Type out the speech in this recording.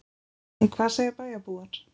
En hvað segja bæjarbúar?